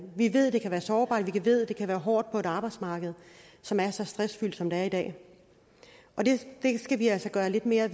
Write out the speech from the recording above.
vi ved de kan være sårbare vi ved det kan være hårdt på et arbejdsmarked som er så stressfyldt som det er i dag og det skal vi altså gøre lidt mere